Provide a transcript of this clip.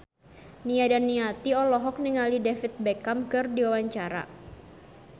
Nia Daniati olohok ningali David Beckham keur diwawancara